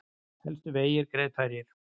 Helstu vegir greiðfærir